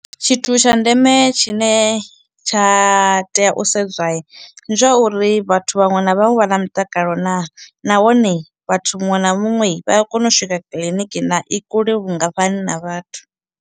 Tshithu tsha ndeme tshine tsha tea u sedzwa ndi zwauri vhathu vhaṅwe na vhaṅwe vha na mutakalo naa nahone vhathu muṅwe na muṅwe vha a kona u swika kiḽiniki naa, i kule vhungafhani na vhathu.